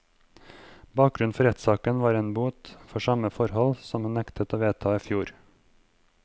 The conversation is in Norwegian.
Bakgrunnen for rettssaken var en bot for samme forhold, som hun nektet å vedta i fjor.